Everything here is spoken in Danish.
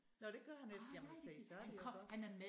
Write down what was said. Nåh det gør han ikke jamen se så det jo godt